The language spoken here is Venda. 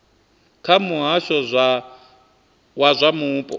kha muhasho wa zwa mupo